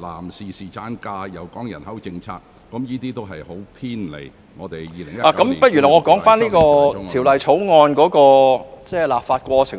男士侍產假，以至人口政策，這些均偏離了《2019年僱傭條例草案》的範圍。